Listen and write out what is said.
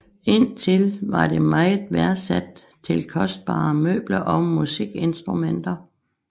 Indtil var det meget værdsat til kostbare møbler og musikinstrumenter